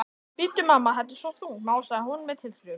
Bíddu, mamma, þetta er svo þungt, másaði hún með tilþrifum.